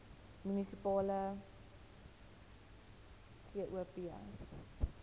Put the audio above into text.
munisipale gop